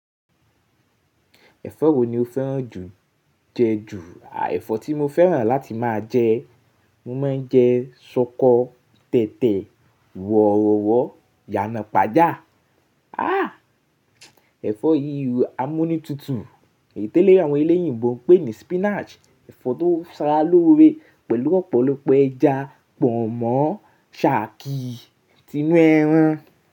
Ẹ̀fọ́ wo ni o fẹ́ràn jù jẹ ju? A, ẹ̀fọ́ tí mo fẹ́ràn láti máa jẹ, mo máa ń jẹ ṣọkọ tẹ̀tẹ̀ wọ̀rọ̀wọ̀, ìyànà pàjá. Ah, ẹ̀fọ́ yí amúnútutù itèlé àwọn eleyìnbó ń pè ní spinach, ẹ̀fọ́ tó sara lóre pẹ̀lú ọ̀pọ̀lọpọ̀ ẹja pọ̀nmọ́ ṣàkí tinú ẹran.